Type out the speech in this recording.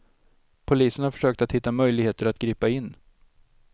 Polisen har försökt att hitta möjligheter att gripa in.